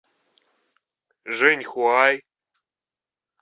жэньхуай